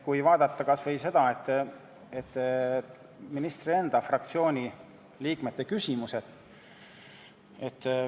Vaatame kas või ministri enda fraktsiooni liikmete küsimusi.